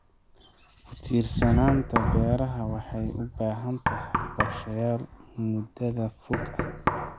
Ku tiirsanaanta beeraha waxay u baahan tahay qorshayaal muddada fog ah.